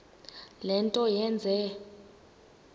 le nto yenze